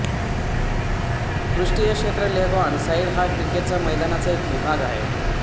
पृष्ठीय क्षेत्र leg on side हा क्रिकेटच्या मैदानाचा एक विभाग आहे